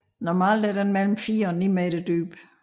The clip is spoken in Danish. Normalt er den mellem 4 og 9 meter dyb